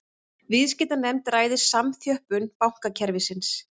Viðskiptanefnd ræði samþjöppun bankakerfisins